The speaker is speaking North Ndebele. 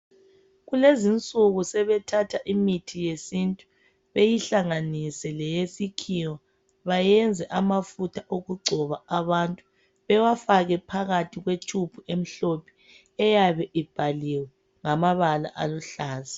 kulezinsuku sebethatha imithi yesintu beyihlanganise leyesikhiwa bayenze amafutha okugcoba abantu bewafake phakathi kwe tube emhlophe eyabe ibhaliwe ngamabala aluhlaza